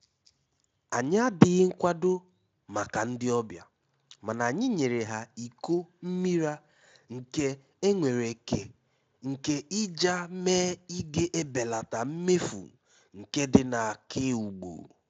Ànyị́ àdíghí nkwádó mákà ndí ọ́bịà, máná ànyị́ nyéré há íkó mmírá nké énwéréké nké íjá mé ígè ébélátá mméfú nkédí n’ákéúgbù.